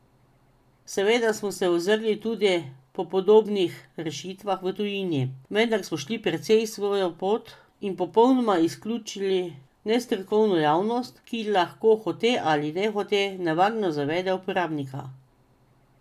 Seveda smo se ozrli tudi po podobnih rešitvah v tujini, vendar smo šli precej svojo pot in popolnoma izključili nestrokovno javnost, ki lahko hote ali nehote nevarno zavede uporabnika.